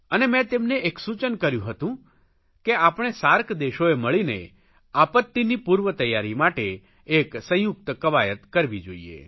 અને મે તેમને એક સૂચન કર્યું હતું કે આપણે સાર્ક દેશોએ મળીને આપત્તિની પૂર્વતૈયારી માટે એક સંયુક્ત ક્વાયત કરવી જોઇએ